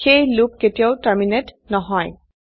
সেয়ে লুপ কেতিয়াও টর্মিনেট নহয়